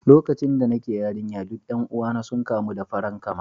Lokacin da nake yarinya, duk 'yan uwana sun kamu da farankama